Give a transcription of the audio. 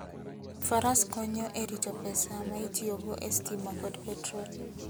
Faras konyo e rito pesa ma itiyogo e stima kod petrol.